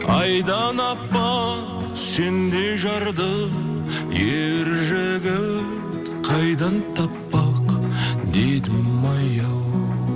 айдан әппақ сендей жарды ер жігіт қайдан таппақ дедімай ау